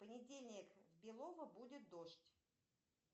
в понедельник в белово будет дождь